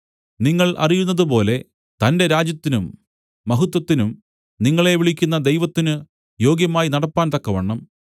നിങ്ങൾ അറിയുന്നതുപോലെ തന്റെ രാജ്യത്തിനും മഹത്വത്തിനും നിങ്ങളെ വിളിക്കുന്ന ദൈവത്തിന് യോഗ്യമായി നടപ്പാൻ തക്കവണ്ണം